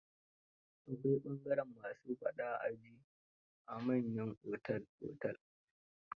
Akwai bangaren "ma su faɗa a ji" a manyan otel-otel.